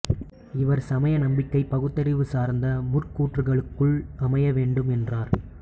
இவர் சமய நம்பிக்கை பகுத்தறிவு சார்ந்த முற்கூற்றுகளுக்குள் அமையவேண்டும் என்றார்